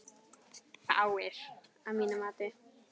Fáir, að mínu mati.